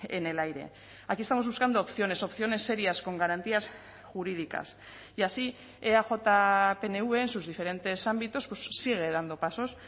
en el aire aquí estamos buscando opciones opciones serias con garantías jurídicas y así eaj pnv en sus diferentes ámbitos sigue dando pasos